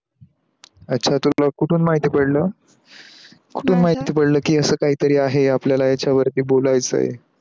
याचा तुला कुठून माहिती पडल? कुठून माहिती पडल कि अस काही तरी आहे आपल्याला याच्या वरती बोलायच?